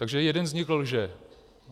Takže jeden z nich lže.